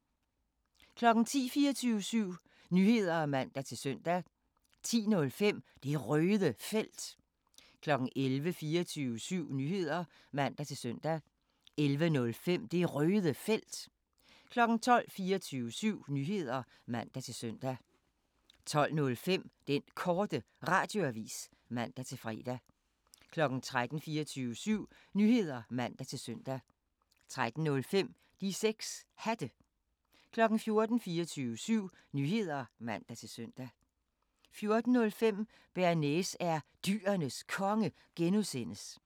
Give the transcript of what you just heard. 10:00: 24syv Nyheder (man-søn) 10:05: Det Røde Felt 11:00: 24syv Nyheder (man-søn) 11:05: Det Røde Felt 12:00: 24syv Nyheder (man-søn) 12:05: Den Korte Radioavis (man-fre) 13:00: 24syv Nyheder (man-søn) 13:05: De 6 Hatte 14:00: 24syv Nyheder (man-søn) 14:05: Bearnaise er Dyrenes Konge (G)